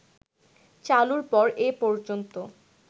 চালুর পর এ পর্যন্ত